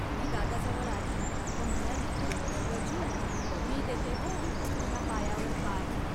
ती दादाजवळ आली व म्हणाली, "गजू. मी देते हो, तुझ्या पायावर पाय